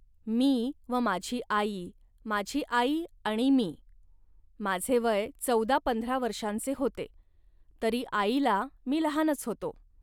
मी व माझी आई, माझी आई आणि मी. माझे वय चौदापंधरा वर्षांचे होते, तरी आईला मी लहानच होतो